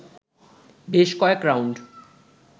বেশ কয়েক রাউন্ড